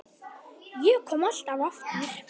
Ég kom alltaf aftur.